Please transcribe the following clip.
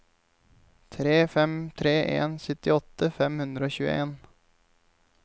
tre fem tre en syttiåtte fem hundre og tjueen